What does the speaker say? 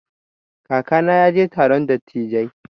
Kakana ya je taron dattijai.